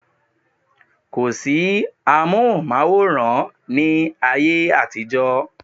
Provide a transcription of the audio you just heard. Kò sí amóhùnmáwòrán ní ayé àtijọ́